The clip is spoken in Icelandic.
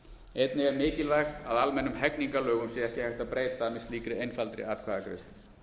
einnig er mikilvægt að almennum hegningarlögum sé ekki hægt að breyta með slíkri einfaldri atkvæðagreiðslu